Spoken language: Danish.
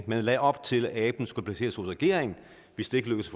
man lagde op til at aben skulle placeres hos regeringen hvis det ikke lykkedes